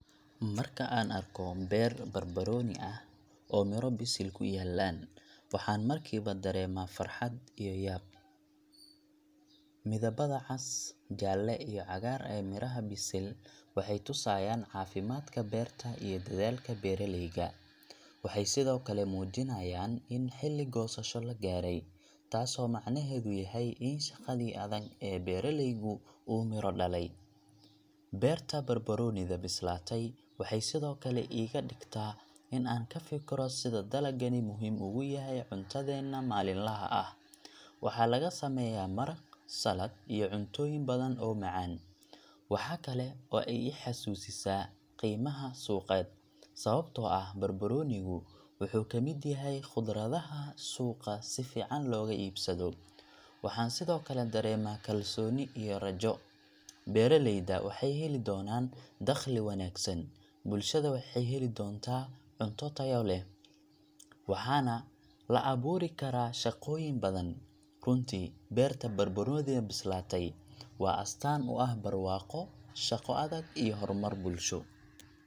Markaan arko beer barbarooni ah oo midho bisil ku yaallaan, waxaan markiiba dareemaa farxad iyo yaab. Midabada cas, jaalle iyo cagaar ee miraha bisil waxay tusayaan caafimaadka beerta iyo dadaalka beeraleyga. Waxay sidoo kale muujinayaan in xilli goosasho la gaaray, taasoo macnaheedu yahay in shaqadii adag ee beeraleygu uu miro dhalay. Beerta barbaroonida bislaatay waxay sidoo kale iga dhigtaa in aan ka fikiro sida dalagani muhiim ugu yahay cuntadeenna maalinlaha ah waxaa laga sameeyaa maraq, salad, iyo cuntooyin badan oo macaan. Waxaa kale oo ay ii xasuusisaa qiimaha suuqeed, sababtoo ah barbaroonigu wuxuu ka mid yahay khudradaha suuqa si fiican looga iibsado. Waxaan sidoo kale dareemaa kalsooni iyo rajo beeraleyda waxay heli doonaan dakhli wanaagsan, bulshada waxay heli doontaa cunto tayo leh, waxaana la abuuri karaa shaqooyin badan. Runtii, beerta barbaroonida bislaatay waa astaan u ah barwaaqo, shaqo adag, iyo horumar bulsho.